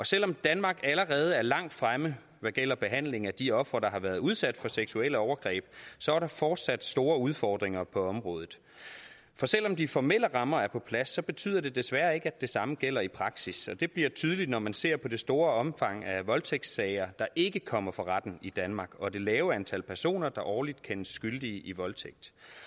selv om danmark allerede er langt fremme hvad gælder behandlingen af de ofre der har været udsat for seksuelle overgreb så er der fortsat store udfordringer på området for selv om de formelle rammer er på plads betyder det desværre ikke at det samme gælder i praksis og det bliver tydeligt når man ser på det store omfang af voldtægtssager der ikke kommer for retten i danmark og det lave antal personer der årligt kendes skyldige i voldtægt